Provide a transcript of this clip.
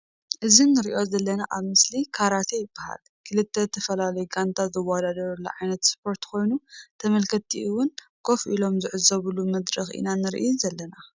እዚ ንሪኦ ዘለና ኣብ ምስሊ ካራቴ ይበሃል ክልተ ዝትፈላለዩ ጋንታ ዝውዳደሩሉ ዓይነት እስፖርት ኮይኑ ተምልክትቲ እዉን ኮፍ ኢሎም ዝዕዘቡሉ ምድርኽ ኢና ንሪኢ ዝለና ።